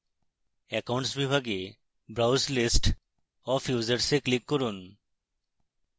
accounts বিভাগে browse list of users এ click করুন